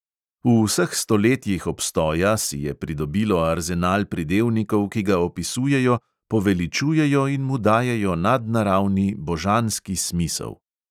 V vseh stoletjih obstoja si je pridobilo arzenal pridevnikov, ki ga opisujejo, poveličujejo in mu dajejo nadnaravni, božanski smisel.